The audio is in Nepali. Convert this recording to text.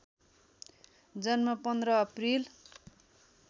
जन्म १५ अप्रिल